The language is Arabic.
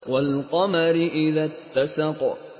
وَالْقَمَرِ إِذَا اتَّسَقَ